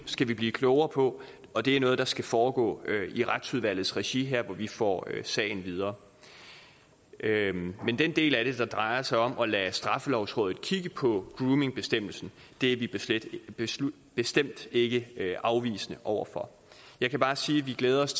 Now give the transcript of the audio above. skal blive klogere på og det er noget der skal foregå i retsudvalgets regi nu her hvor vi får sagen videre den del af det der drejer sig om at lade straffelovrådet kigge på en groomingbestemmelse er vi bestemt bestemt ikke afvisende over for jeg kan bare sige at vi glæder os